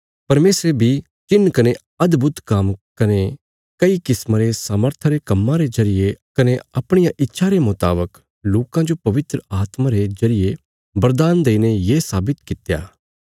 परमेशरे बी चिन्ह कने अदभुत काम्म कने कई किस्मा रे सामर्था रे कम्मां रे जरिये कने अपणिया इच्छा रे मुतावक लोकां जो पवित्र आत्मा रे जरिये बरदान देईने ये साबित कित्या